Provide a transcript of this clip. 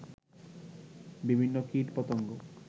বিভিন্ন কীট, পতঙ্গ